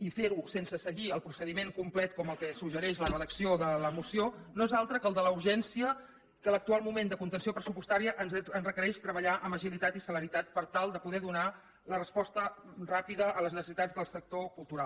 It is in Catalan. i fer ho sense seguir el procediment complet com el que suggereix la redacció de la moció no és altre que el de la urgència que l’actual moment de contenció pressupostària ens requereix treballar amb agilitat i celeritat per tal de poder donar la resposta ràpida a les necessitats del sector cultural